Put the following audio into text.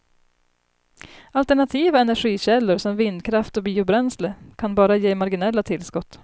Alternativa energikällor, som vindkraft och biobränsle, kan bara ge marginella tillskott.